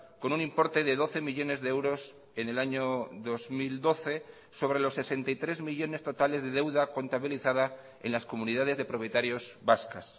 con un importe de doce millónes de euros en el año dos mil doce sobre los sesenta y tres millónes totales de deuda contabilizada en las comunidades de propietarios vascas